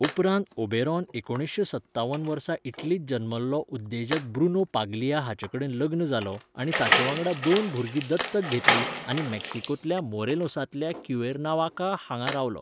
उपरांत ओबेरॉन एकुणीसशें सत्तावन वर्सा इटलींत जल्मल्लो उद्देजक ब्रुनो पाग्लिया हाचेकडेन लग्न जालो आनी ताचेवांगडा दोन भुरगीं दत्तक घेतलीं आनी मेक्सिकोंतल्या मोरेलोसांतल्या क्युएर्नावाका हांगा रावलो.